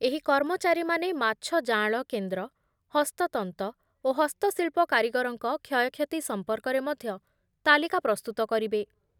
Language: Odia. ଏହି କର୍ମଚାରୀମାନେ ମାଛ ଜାଆଁଳ କେନ୍ଦ୍ର, ହସ୍ତତନ୍ତ ଓ ହସ୍ତଶିଳ୍ପ କାରିଗରଙ୍କ କ୍ଷୟକ୍ଷତି ସମ୍ପର୍କରେ ମଧ୍ଯ ତାଲିକା ପ୍ରସ୍ତୁତ କରିବେ ।